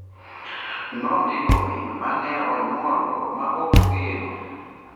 nondiko min ma ne onyuolo ma ok ogeno.